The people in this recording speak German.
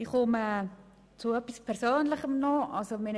Nun komme ich zu etwas Persönlichem.